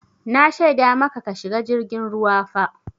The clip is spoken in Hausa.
Na shaida maka ka shiga jirgin ruwa fa!